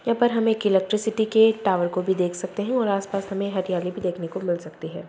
हम एक इलेक्ट्रिसिटी के टावर को भी देख सकते है और आसपास हमे हरियाली भी देखने को।